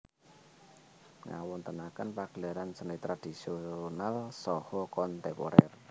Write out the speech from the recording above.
Ngawontenaken pagelaran seni tradisonal saha kontemporer